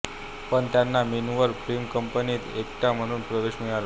पण त्यांना Minerva film कंपनीत एक्ट्रा म्हणून प्रवेश मिळाला